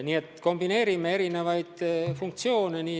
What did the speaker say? Nii et kombineerime erinevaid funktsioone.